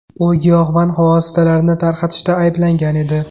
U giyohvand vositalarini tarqatishda ayblangan edi.